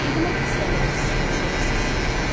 Dedim axı istəmirəm siz tanış olasınız.